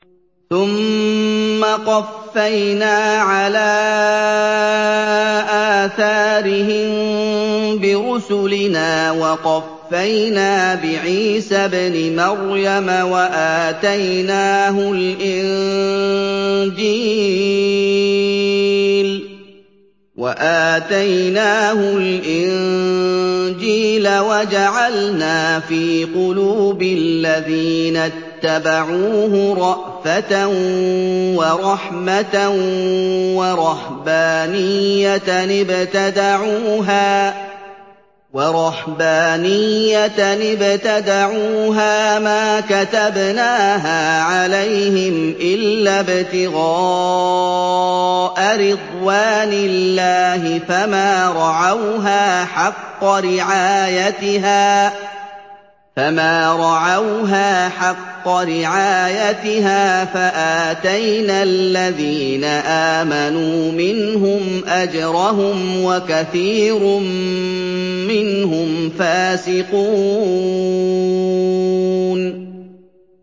ثُمَّ قَفَّيْنَا عَلَىٰ آثَارِهِم بِرُسُلِنَا وَقَفَّيْنَا بِعِيسَى ابْنِ مَرْيَمَ وَآتَيْنَاهُ الْإِنجِيلَ وَجَعَلْنَا فِي قُلُوبِ الَّذِينَ اتَّبَعُوهُ رَأْفَةً وَرَحْمَةً وَرَهْبَانِيَّةً ابْتَدَعُوهَا مَا كَتَبْنَاهَا عَلَيْهِمْ إِلَّا ابْتِغَاءَ رِضْوَانِ اللَّهِ فَمَا رَعَوْهَا حَقَّ رِعَايَتِهَا ۖ فَآتَيْنَا الَّذِينَ آمَنُوا مِنْهُمْ أَجْرَهُمْ ۖ وَكَثِيرٌ مِّنْهُمْ فَاسِقُونَ